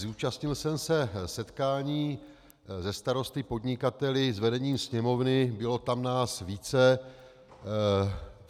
Zúčastnil jsem se setkání se starosty, podnikateli, s vedením Sněmovny, bylo nás tam více.